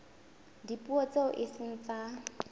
dipuo tseo e seng tsa